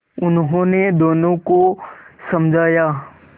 उन्होंने दोनों को समझाया